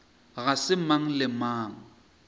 ga se mang le mang